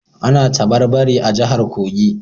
Ana tabarbare a jihar Kogi